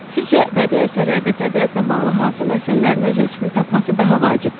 Sizcə bədii əsərlərdə təbiətlə bağlı hansı məsələlərin öz əksini tapması daha vacibdir?